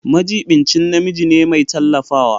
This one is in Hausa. Majiɓinci namiji ne mai tallafawa.